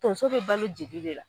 Tonso be balo jeli le la.